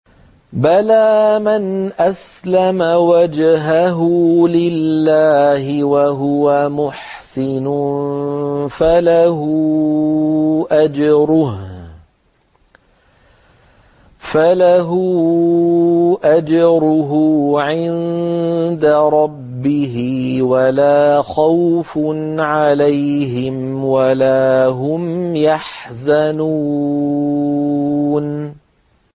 بَلَىٰ مَنْ أَسْلَمَ وَجْهَهُ لِلَّهِ وَهُوَ مُحْسِنٌ فَلَهُ أَجْرُهُ عِندَ رَبِّهِ وَلَا خَوْفٌ عَلَيْهِمْ وَلَا هُمْ يَحْزَنُونَ